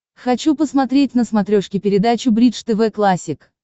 хочу посмотреть на смотрешке передачу бридж тв классик